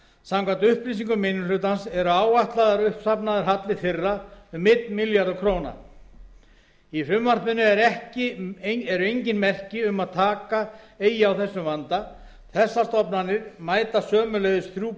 samkvæmt upplýsingum minni hlutans er áætlaður uppsafnaður halli þeirra um einn milljarður króna í frumvarpinu eru engin merki um að taka eigi á þessum vanda þessar stofnanir mæta sömuleiðis þrjú